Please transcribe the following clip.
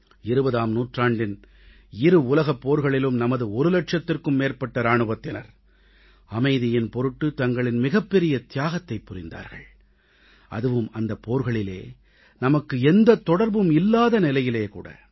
20ஆம் நூற்றாண்டின் இரு உலகப் போர்களிலும் நமது ஒரு லட்சத்திற்கும் மேற்பட்ட இராணுவத்தினர் அமைதியின் பொருட்டு தங்களின் மிகப்பெரிய தியாகத்தைப் புரிந்தார்கள் அதுவும் அந்தப் போர்களிலே நமக்கு எந்தத் தொடர்பும் இல்லாத நிலையிலே கூட